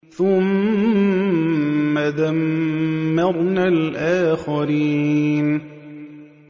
ثُمَّ دَمَّرْنَا الْآخَرِينَ